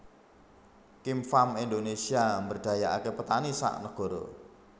Kem Farm Indonesia mberdayaake petani sak negoro